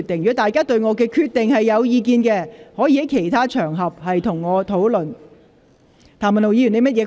議員如對我的決定有意見，可在其他場合與我討論。